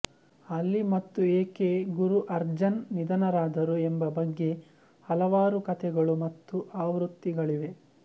ಆಲ್ಲಿ ಮತ್ತು ಏಕೆ ಗುರು ಅರ್ಜನ್ ನಿಧನರಾದರು ಎಂಬ ಬಗ್ಗೆ ಹಲವಾರು ಕಥೆಗಳು ಮತ್ತು ಆವೃತ್ತಿಗಳಿವೆ